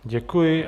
Děkuji.